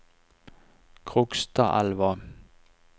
Krokstadelva